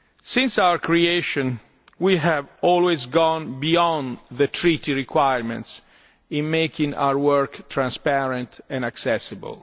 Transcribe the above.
Since our creation, we have always gone beyond the Treaty requirements in making our work transparent and accessible.